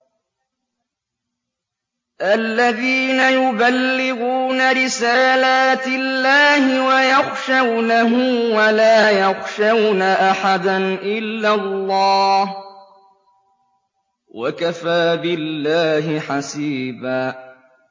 الَّذِينَ يُبَلِّغُونَ رِسَالَاتِ اللَّهِ وَيَخْشَوْنَهُ وَلَا يَخْشَوْنَ أَحَدًا إِلَّا اللَّهَ ۗ وَكَفَىٰ بِاللَّهِ حَسِيبًا